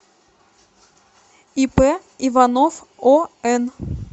ип иванов он